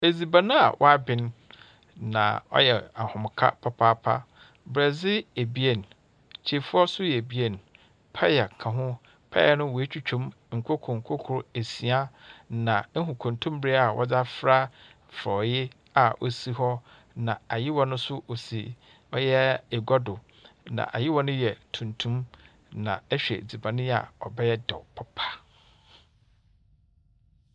Edzibɛn a waabin na ɔyɛ ahomka papaapa. Brɔdi ebien, kyeifua so yɛ ebien, paya kä ho. Paya no, wetwitwem nkroko nkroko esia na ehu kontomire a wɔdi afra frɔi a osi hɔ na ayiwa noso osi ɔyɛ egwa do na ayiwa no yɛ tuntum na ɛhwɛ edziban yi a, ɔbɛyɛ dɛu papa.